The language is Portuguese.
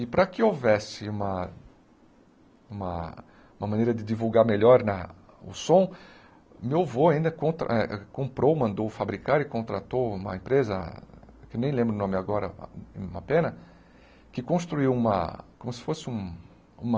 E para que houvesse uma uma maneira de divulgar melhor na o som, meu avô ainda contra eh comprou, mandou fabricar e contratou uma empresa, que nem lembro o nome agora, uma pena, que construiu uma como se fosse um uma...